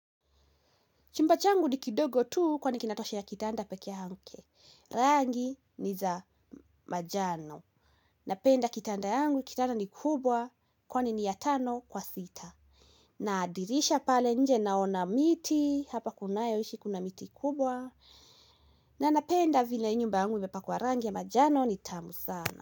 Chumba changu ni kidogo tu kwani kinatoshea kitanda peke yake. Rangi ni za manjano. Napenda kitanda yangu, kitanda ni kubwa, kwani ni ya tano kwa sita. Na dirisha pale nje naona miti, hapa kunayoishi kuna miti kubwa. Na napenda vile hii nyumbangu imepakwa rangi ya manjano ni tamu sana.